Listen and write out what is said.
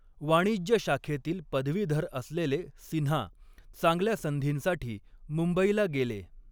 वाणिज्य शाखेतील पदवीधर असलेले सिन्हा, चांगल्या संधींसाठी मुंबईला गेले.